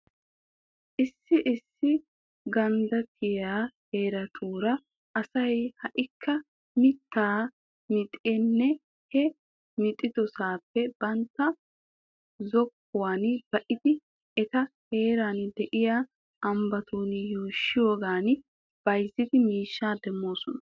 Issi issi ganddattiyaa heeratuura asay ha"ikka mittaa mixidinne he mixidosaape bantta zokkuwan ba"idi eta heeran de'yaa ambbatun yuushiyoogan bayzidi miishshaa demoosona.